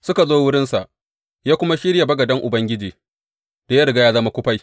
Suka zo wurinsa, ya kuma shirya bagaden Ubangiji, da ya riga ya zama kufai.